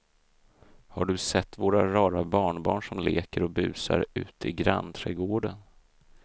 Har du sett våra rara barnbarn som leker och busar ute i grannträdgården!